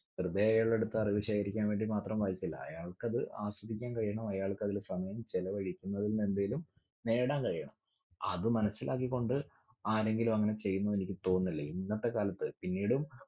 വെറുതെ അയാളെടുത്തു അറിവ് ശേഖരിക്കാൻ വേണ്ടി മാത്രം വായിക്കില്ല. അയാൾക്കത് ആസ്വദിക്കാൻ കഴിയണം. അയാൾക്കതില് സമയം ചിലവഴിക്കുന്നതിനു എന്തേലും നേടാൻ കഴിയണം. അത് മനസ്സിലാക്കിക്കൊണ്ട് ആരെങ്കിലും അങ്ങിനെ ചെയ്യുമെന്നെനിക്ക് തോന്നുന്നില്ല. ഇന്നത്തെ കാലത്തു പിന്നീടും